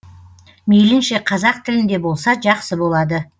мейілінше қазақ тілінде болса жақсы болады